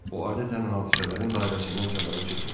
O adətən hadisələrin dairəsindən kənara çıxmır.